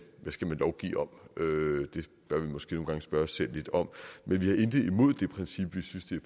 skal lovgive om det bør vi måske nogle gange spørge os selv lidt om men vi har intet imod det princip vi synes det